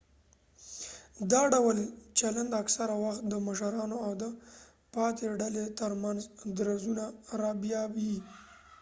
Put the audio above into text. دا ډول چلند اکثره وخت د مشرانو او د پاتې ډلې ترمنځ درزونه رابیايي